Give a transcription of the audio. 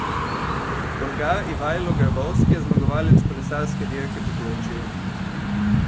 Bolgar Ivajlo Grabovski je zmagovalec kolesarske Dirke po Turčiji.